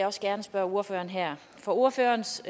også gerne spørge ordføreren her for ordførerens